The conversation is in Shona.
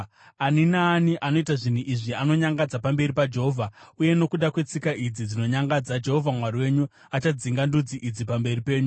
Ani naani anoita zvinhu izvi anonyangadza pamberi paJehovha, uye nokuda kwetsika idzi dzinonyangadza Jehovha Mwari wenyu achadzinga ndudzi idzi pamberi penyu.